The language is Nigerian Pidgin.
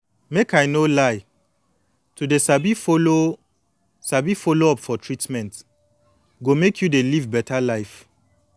make i no lie to dey sabi follow sabi follow up for treatment go make you dey live beta life